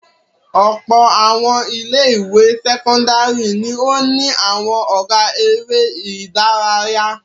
Ọ̀pọ̀ àwọn ilé-ìwé sẹ́kọ́ndárì ni ó ní àwọn ọ̀gá eré-idárayá.